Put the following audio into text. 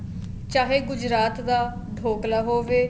ਚਾਹੇ ਗੁਜਰਾਤ ਦਾ ਡੋਕਲਾ ਹੋਵੇ